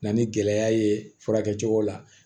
Na ni gɛlɛya ye furakɛli cogo la